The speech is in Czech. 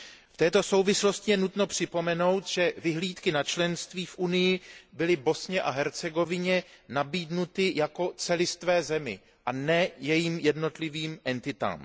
V této souvislosti je nutno připomenout, že vyhlídky na členství v Unii byly Bosně a Hercegovině nabídnuty jako celistvé zemi, a ne jejím jednotlivým entitám.